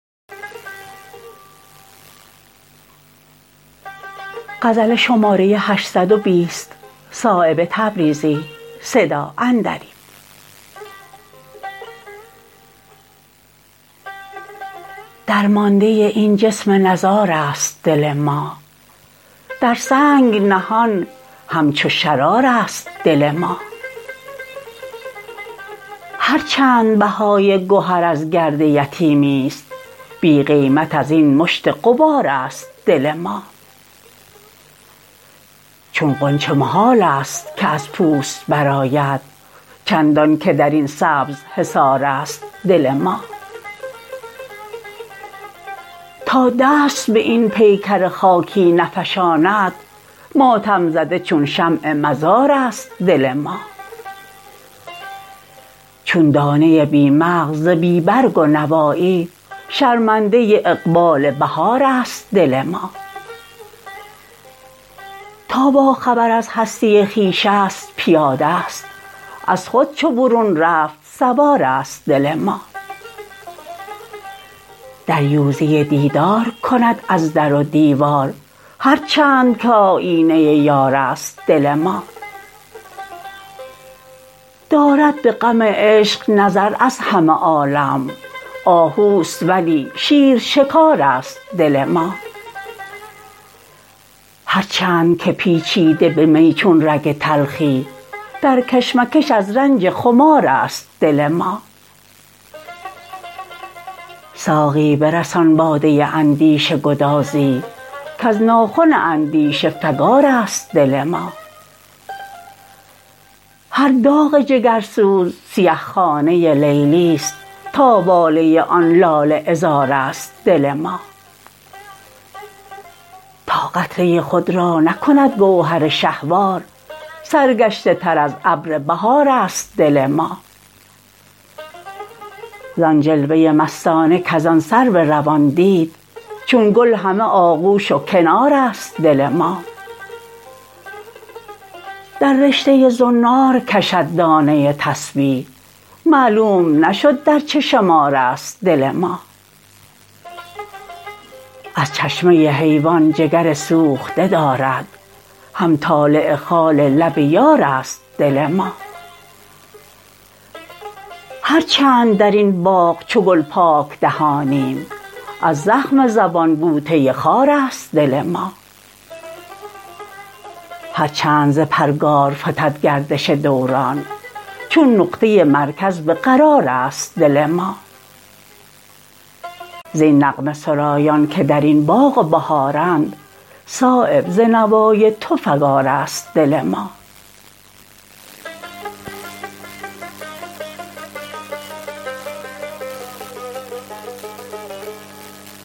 درمانده این جسم نزارست دل ما در سنگ نهان همچو شرارست دل ما هر چند بهای گهر از گرد یتیمی است بی قیمت ازین مشت غبارست دل ما چون غنچه محال است که از پوست برآید چندان که درین سبز حصارست دل ما تا دست به این پیکر خاکی نفشاند ماتم زده چون شمع مزارست دل ما چون دانه بی مغز ز بی برگ و نوایی شرمنده اقبال بهارست دل ما تا با خبر از هستی خویش است پیاده است از خود چو برون رفت سوارست دل ما دریوزه دیدار کند از در و دیوار هر چند که آیینه یارست دل ما دارد به غم عشق نظر از همه عالم آهوست ولی شیر شکارست دل ما هر چند که پیچیده به می چون رگ تلخی در کشمکش از رنج خمارست دل ما ساقی برسان باده اندیشه گدازی کز ناخن اندیشه فگارست دل ما هر داغ جگرسوز سیه خانه لیلی است تا واله آن لاله عذارست دل ما تا قطره خود را نکند گوهر شهوار سرگشته تر از ابر بهارست دل ما زان جلوه مستانه کز آن سرو روان دید چون گل همه آغوش و کنارست دل ما در رشته زنار کشد دانه تسبیح معلوم نشد در چه شمارست دل ما از چشمه حیوان جگر سوخته دارد هم طالع خال لب یارست دل ما هر چند درین باغ چو گل پاک دهانیم از زخم زبان بوته خارست دل ما هر چند ز پرگار فتد گردش دوران چون نقطه مرکز به قرارست دل ما زین نغمه سرایان که درین باغ و بهارند صایب ز نوای تو فگارست دل ما